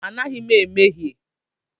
Anaghị m emehie.